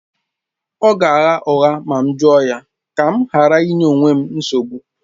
Ọ ga-agha ụgha ma m jụọ ya, ka m ghara ịnye onwe m nsogbu